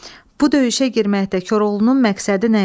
Bu döyüşə girməkdə Koroğlunun məqsədi nə idi?